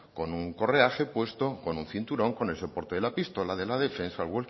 con un correaje puesto con un cinturón con el soporte de la pistola de la defensa el walki